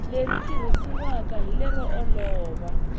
leri tirhisiwaka hi lero olova